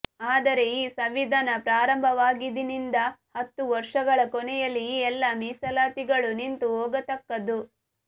ಆದರೆ ಈ ಸಂವಿಧಾನ ಪ್ರಾರಂಭವಾದಾಗಿನಿಂದ ಹತ್ತು ವರ್ಷಗಳ ಕೊನೆಯಲ್ಲಿ ಈ ಎಲ್ಲಾ ಮೀಸಲಾತಿಗಳು ನಿಂತು ಹೋಗತಕ್ಕದು